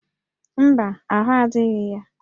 Mba, ahụ́ adịghị ya